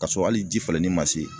Ka sɔrɔ hali ji falenni ma se